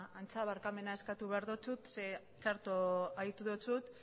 antza barkamena eskatu behar dizut zeren txarto aditu dizut